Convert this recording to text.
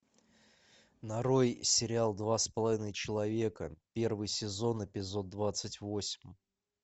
нарой сериал два с половиной человека первый сезон эпизод двадцать восемь